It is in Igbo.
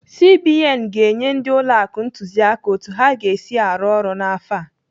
CBN ga-enye ndị ụlọ akụ ntụziaka otu ha ga-esi arụ ọrụ n'afọ a.